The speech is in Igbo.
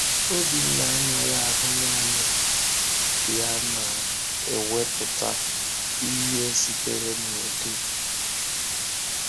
Obinna anaghị ahụ naanị ya na-ewepụta ihe sitere n’ụdị.